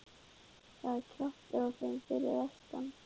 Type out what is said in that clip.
Það er kjaftur á þeim fyrir vestan.